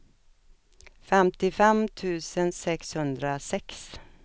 femtiofem tusen sexhundrasex